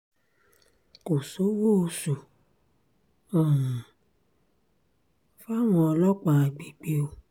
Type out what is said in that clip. kò sówó oṣù um fáwọn ọlọ́pàá àgbègbè o